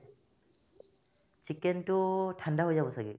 chicken তো ঠাণ্ডা হৈ যাব ছাগে